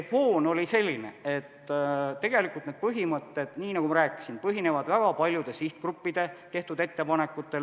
Foon oli selline, et need põhimõtted, nii nagu ma rääkisin, põhinevad väga paljude sihtgruppide tehtud ettepanekutel.